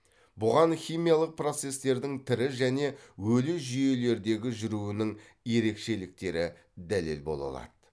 бұған химиялық процестердің тірі және өлі жүйелердегі жүруінің ерекшеліктері дәлел бола алады